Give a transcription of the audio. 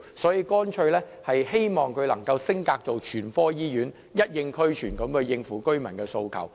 所以，我們希望北大嶼山醫院能升格成為全科醫院，全方位地回應居民的訴求。